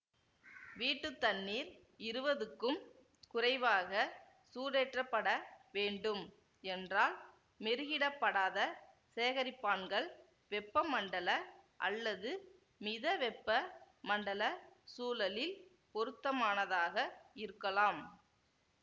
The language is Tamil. வீட்டு தண்ணீர் இருவதுக்கும் குறைவாக சூடேற்றப்பட வேண்டும் என்றால் மெருகிடப்படாத சேகரிப்பான்கள் வெப்பமண்டல அல்லது மித வெப்ப மண்டல சூழலில் பொருத்தமானதாக இருக்கலாம்